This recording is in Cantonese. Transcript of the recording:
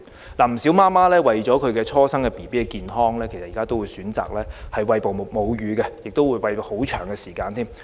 現時，不少母親為了初生嬰兒的健康，都會選擇餵哺母乳，甚至餵哺至嬰兒較年長才停止。